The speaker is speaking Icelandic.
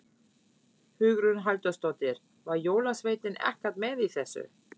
Hugrún Halldórsdóttir: Var jólasveinninn ekkert með í þessu?